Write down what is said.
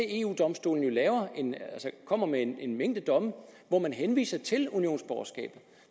eu domstolen kommer med en en mængde domme hvor man henviser til unionsborgerskabet